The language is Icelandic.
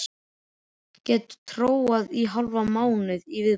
Get tórað í hálfan mánuð í viðbót.